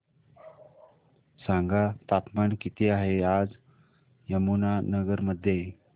सांगा तापमान किती आहे आज यमुनानगर मध्ये